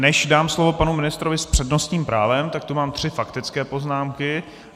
Než dám slovo panu ministrovi s přednostním právem, tak tu mám tři faktické poznámky.